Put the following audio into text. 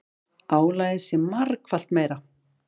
Álagið sé margfalt meira.